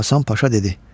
Hasan Paşa dedi: